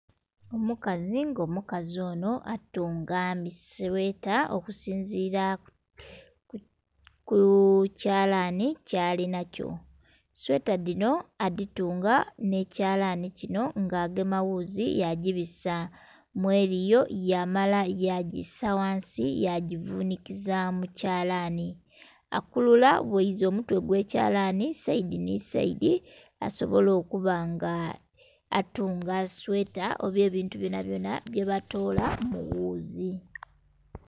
Omukazi nga omukazi onho atunga misweta okusinzira kukyalanhi kyalinhakyo, sweta dhinho adhitunga nhekyalanhi kinho nga agema ghuzi yadhibisa mweliyo yamala yadhisa ghansi yagivunhikiza mukyalanhi. Akulula ghaza omutwe ogwekyalani saidi nhi saidi asobole okuba nga atunga sweta oba ebintu byona byona byebatola mughuzi.